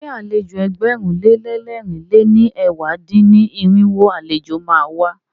Ṣé àlejò ẹgbẹ̀rún lé lẹ́rìn lé ní ẹ̀wá dín-ní-irinwó àlejò má a wá?